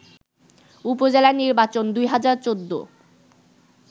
উপজেলা নির্বাচন ২০১৪